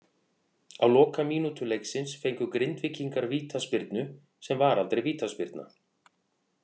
Á lokamínútu leiksins fengu Grindvíkingar vítaspyrnu sem var aldrei vítaspyrna.